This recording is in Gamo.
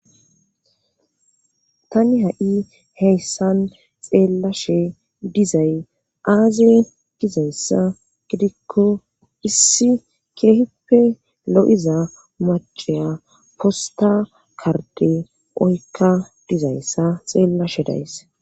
tani ha7i heyssan xeellashe dizay aaze dizayssa gidikko issi keeheppe lo7iza macaya posta karde oykka dizayssa xeellashe days